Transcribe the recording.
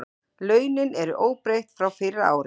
Launin eru óbreytt frá fyrra ári